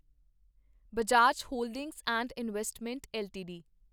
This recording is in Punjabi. Bajaj holdings and investment LTD